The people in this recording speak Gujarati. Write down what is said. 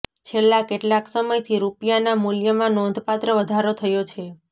છેલ્લા કેટલાક સમયથી રૂપિયાના મૂલ્યમાં નોંધપાત્ર વધારો થયો છે